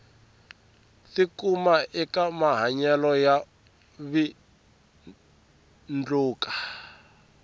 tikuma eka mahanyelo yo vindluka